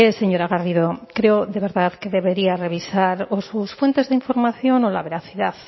señora garrido creo de verdad que debería revisar o sus fuentes de información o la veracidad